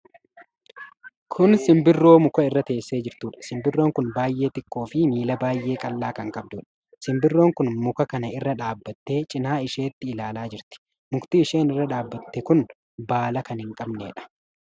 Kun simbirroo muka irra teessee jirtuudha. Simbirroon kun baay'ee xiqqoo fi miila baay'ee qal'aa kan qabduudha. Simbirroon kun muka kana irra dhaabattee cinaa isheetti ilaalaa jirti. Mukti isheen irra dhaabatte kun baala kan hin qabneedha.